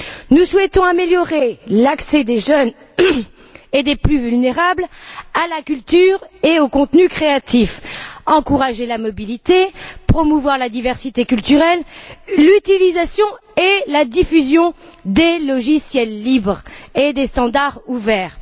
Nous souhaitons améliorer l'accès des jeunes et des plus vulnérables à la culture et au contenu créatif, encourager la mobilité, promouvoir la diversité culturelle, l'utilisation et la diffusion des logiciels libres et des standards ouverts.